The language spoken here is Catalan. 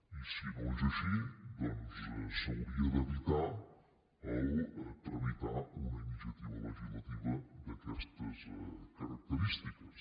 i si no és així doncs s’hauria d’evitar tramitar una iniciativa legislativa d’aquestes característiques